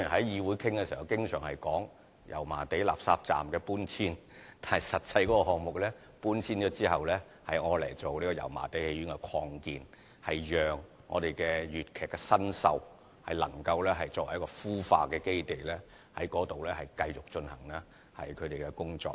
議會經常討論到油麻地垃圾站的搬遷問題，但實際上這項目搬遷後是用作油麻地戲院的擴建，作為粵劇新秀的孵化基地，在該處繼續進行他們的工作。